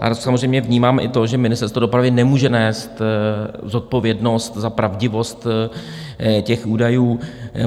Ale samozřejmě vnímám i to, že Ministerstvo dopravy nemůže nést zodpovědnost za pravdivost těch údajů.